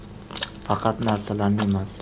Faqat narsalarni emas.